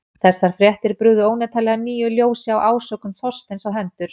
Þessar fréttir brugðu óneitanlega nýju ljósi á ásökun Þorsteins á hendur